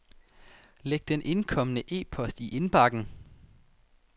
Læg den indkomne e-post i indbakken.